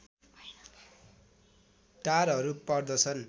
टारहरू पर्दछन्